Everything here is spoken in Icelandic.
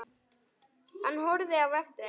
Hann horfði á eftir þeim.